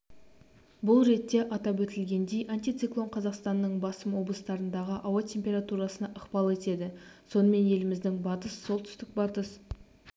бұл ретте атап өтілгендей антициклон қазақстанның басым облыстарындағы ауа температурасына ықпал етеді сонымен еліміздің батыс солтүстік-батыс